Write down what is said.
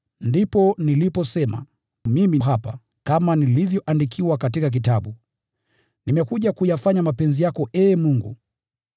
Ndipo niliposema, ‘Mimi hapa, nimekuja, imeandikwa kunihusu katika kitabu: Nimekuja kuyafanya mapenzi yako, Ee Mungu.’ ”